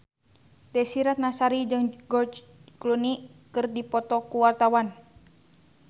Desy Ratnasari jeung George Clooney keur dipoto ku wartawan